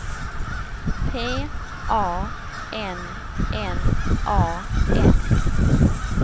P A N N A N